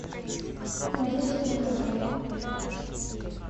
надежде понкратовой